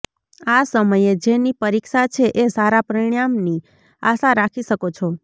આ સમયે જેની પરીક્ષા છે એ સારા પરિણામની આશા રાખી શકો છો